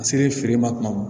A ser'e feere ma kuma min